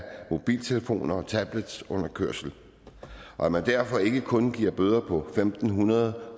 mobiltelefon og tablet under kørsel og at man derfor ikke kun giver bøder på en fem hundrede